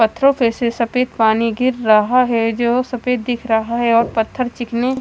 पत्थरो पे से सफ़ेद पानी गिर रहा है जो सफ़ेद दिख रहा है और पत्थर चिकने --